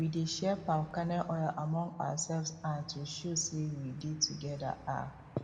we dey share palm kernel oil among ourselves um to show say we dey together um